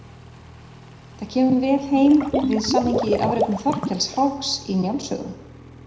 Það kemur vel heim við samhengið í afrekum Þorkels háks í Njáls sögu.